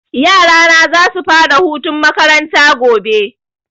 Yara na za su fara hutun makaranta gobe